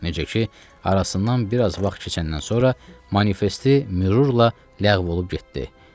Necə ki, arasından bir az vaxt keçəndən sonra manifesti mürürlə ləğv olunub getdi.